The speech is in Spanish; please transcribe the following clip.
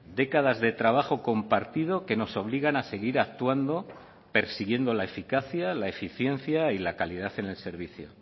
décadas de trabajo compartido que nos obligan a seguir actuando persiguiendo la eficacia la eficiencia y la calidad en el servicio